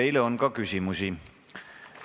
Teile on ka küsimusi.